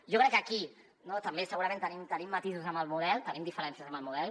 jo crec que aquí no també segurament tenim matisos en el model tenim diferències en el model